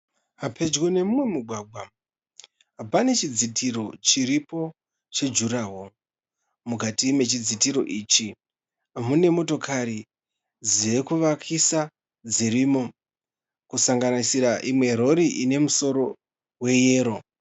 Pedyo nemumwe mugwagwa pane chidzitiro chiripo chejuraho. Mukati mechidzitiro ichi mune motikari dzekuvakisa dzirimo kusanganisira imwe rori ine musoro weyero.